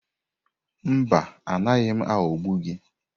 Mba, anaghị m aghọgbu gị.